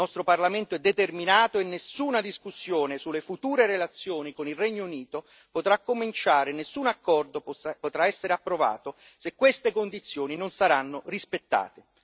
Il nostro Parlamento è determinato e nessuna discussione sulle future relazioni con il Regno Unito potrà cominciare, nessun accordo potrà essere approvato se queste condizioni non saranno rispettate.